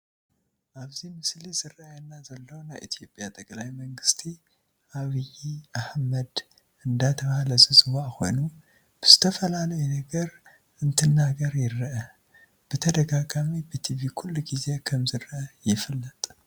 ኣብዚ ምስሊ ዝርአየና ዘሎ ናይ ኢትዮጱያ ጠቅላይ መንግስት አብይ አሕመድ እዳተባሃለ ዝፅዋዕ ኮይኑ ብዝተፈላላዩ ነገር እንትናገር ይርኢ። ብተደጋጋሚ ብትቪ ኩሉ ግዚ ከምዝርአ ይፍለ።